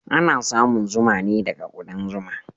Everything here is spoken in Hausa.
Ana samun zuma ne daga kudan zuma.